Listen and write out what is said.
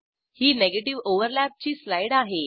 ही negative ओव्हरलॅपची slide आहे